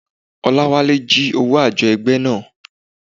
Oláwálé jí owó àjọ ẹgbẹ́ náà.